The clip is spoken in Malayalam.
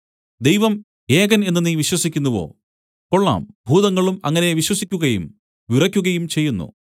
ദൈവം ഏകൻ എന്ന് നീ വിശ്വസിക്കുന്നുവോ കൊള്ളാം ഭൂതങ്ങളും അങ്ങനെ വിശ്വസിക്കുകയും വിറക്കുകയും ചെയ്യുന്നു